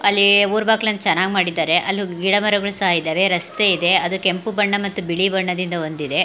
ಅಲ್ಲಿ ಊರ ಬಾಗ್ಲು ಚನ್ನಾಗಿ ಮಾಡಿದ್ದಾರೆ ಅಲ್ಲಿ ಗಿಡಮರಗಳು ಸಹ ಇದವೆ ರಸ್ತೆ ಇದೆ ಅದು ಕೆಂಪು ಬಣ್ಣ ಮತ್ತು ಬಿಳಿ ಬಣ್ಣದಿಂದ ಹೊಂದಿದೆ .